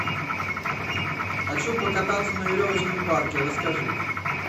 хочу покататься на веревочном парке расскажи